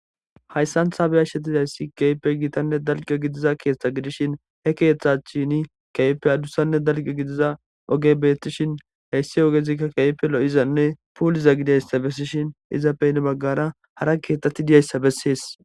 hayssan tasashshetizayssi keype giitanne dalqiyo gidiza keeththa gidishin he keeththachini keefe adussanne dalqio gidiza oge bettishin heyssi ogezikka kepe lo7izanne puuliza gidayssa bessishin izapeyne baggara hara keeththati diyayssa bessees